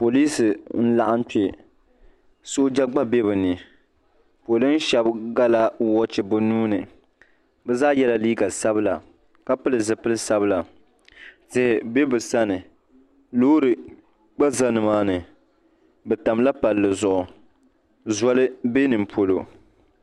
Poliis n laɣim kpe sooja gba bɛ bi ni polin shɛba gala wɔchi bi nuu ni bi zaa yɛla liiga sabila ka pili zipili sabila tihi bɛ bi sani loori gba za ni maa ni bi tam la palli zuɣu zɔli bɛ nimpolo.